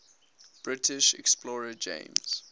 british explorer james